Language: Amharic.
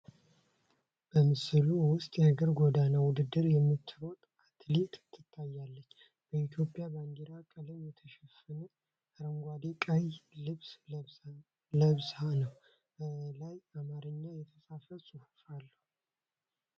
በምስሉ ውስጥ የእግር ጎዳና ውድድር የምትሮጥ አትሌት ታይታለች። በኢትዮጵያ ባንዲራ ቀለም የተሸፈነ አረንጓዴና ቀይ ልብስ ለብሳ ነዉ፡፡ በላዩ በአማርኛ የተጻፈ ጽሑፍ አለ፡፡